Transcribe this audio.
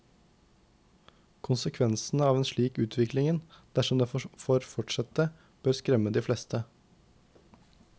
Konsekvensene av en slik utvikling, dersom den får fortsette, bør skremme de fleste.